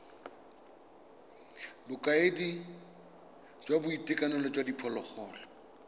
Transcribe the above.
bokaedi jwa boitekanelo jwa diphologolo